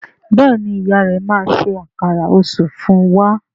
Béèni ìyá rẹ má ṣe Àkàrà Òṣú fún wá.